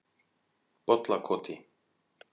Bollakoti